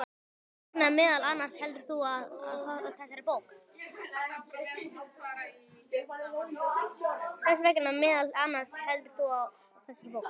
Þess vegna meðal annars heldur þú á þessari bók.